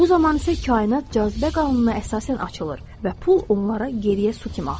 Bu zaman isə kainat cazibə qanununa əsasən açılır və pul onlara geriyə su kimi axır.